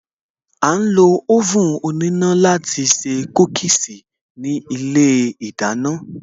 A ń lo oven òníná láti se Kúkíīsī ní ilé ìdáná